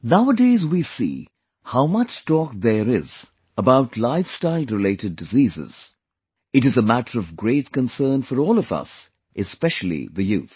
Nowadays we see how much talk there is about Lifestyle related Diseases, it is a matter of great concern for all of us, especially the youth